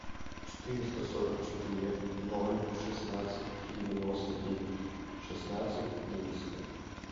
четыреста сорок четыре ноль шестнадцать девяносто девять шестнадцать двести